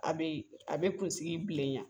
A be a bɛ kunsigi bilenyan